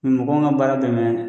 Ni mɔgɔw min ka baara dɛmɛ